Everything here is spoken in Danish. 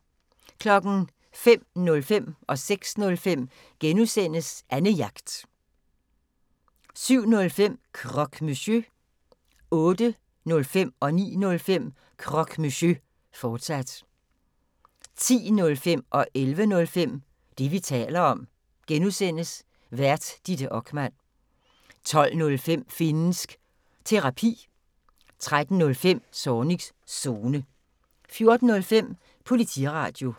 05:05: Annejagt (G) 06:05: Annejagt (G) 07:05: Croque Monsieur 08:05: Croque Monsieur, fortsat 09:05: Croque Monsieur, fortsat 10:05: Det, vi taler om (G) Vært: Ditte Okman 11:05: Det, vi taler om (G) Vært: Ditte Okman 12:05: Finnsk Terapi 13:05: Zornigs Zone 14:05: Politiradio